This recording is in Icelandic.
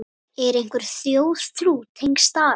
Er einhver þjóðtrú tengd stara?